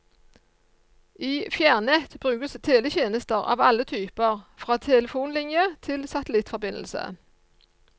I fjernnett brukes teletjenester av alle typer, fra telefonlinje til satellittforbindelse.